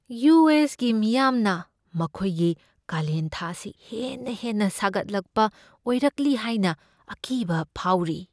U. S. ꯒꯤ ꯃꯤꯌꯥꯝꯅ ꯃꯈꯣꯏꯒꯤ ꯀꯥꯂꯦꯟ ꯊꯥ ꯑꯁꯤ ꯍꯦꯟꯅ ꯍꯦꯟꯅ ꯁꯥꯒꯠꯂꯛꯄ ꯑꯣꯏꯔꯛꯂꯤ ꯍꯥꯏꯅ ꯑꯀꯤꯕ ꯐꯥꯎꯔꯤ ꯫